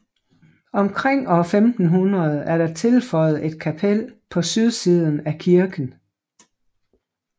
Omkring år 1500 er der tilføjet et kapel på sydsiden af kirken